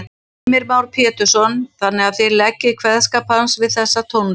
Heimir Már Pétursson: Þannig að þið leggið kveðskap hans við þessa tónlist?